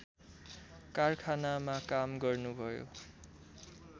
कारखानामा काम गर्नुभयो